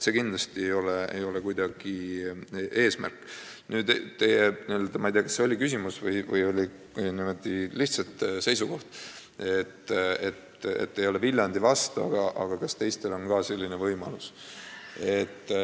Nüüd teie seisukohast, et te ei ole Viljandi Haigla rahastamise vastu, ja küsimusest, kas teistel on ka selline võimalus.